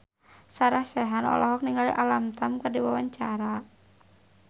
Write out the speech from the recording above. Sarah Sechan olohok ningali Alam Tam keur diwawancara